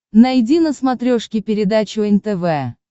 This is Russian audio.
найди на смотрешке передачу нтв